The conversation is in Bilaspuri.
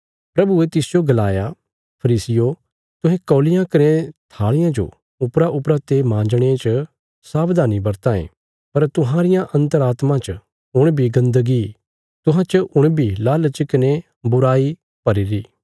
प्रभुये तिसजो गलाया फरीसियो तुहें कौलियां कने थाल़ियां जो उपराउपरा ते मांजणे च सावधानी वरतां ये पर तुहांरिया अन्तरात्मा च हुण बी गन्दगी तुहां च हुण बी लालच कने बुराई भरीरी